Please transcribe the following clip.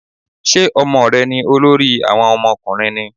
Ṣé Ọmọ rẹ ni olórí àwọn ọmọ ọkùnrin ni?